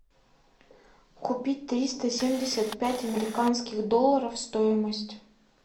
купить триста семьдесят пять американских долларов стоимость